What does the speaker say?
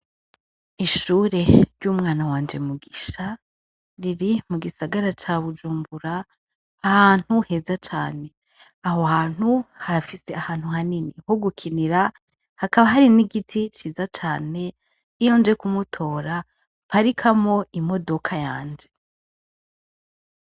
Ishure ry'umwana wanje Mugisha riri mugisagara ca bujumbura, ahantu heza cane, aho hantu hafise ahantu hanini ho gukinira, hakaba hari n'igiti ciza cane iyo. nje kumutora mparikamwo imodoka yanje.